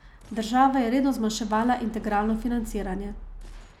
Država je redno zmanjševala integralno financiranje.